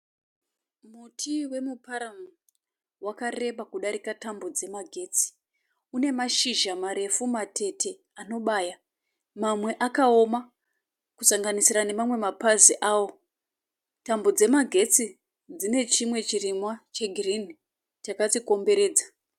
Muti wemuParamu. Wakareba kudarika tambo dzemagetsi. Une mashizha marefu matete anobaya, mamwe akaooma kusanganisira nemamwe mapazi awo. Tambo dzemagetsi dzine chirimwa chegirinhi chakadzikomberedza.